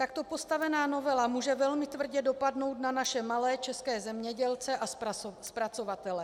Takto postavená novela může velmi tvrdě dopadnout na naše malé české zemědělce a zpracovatele.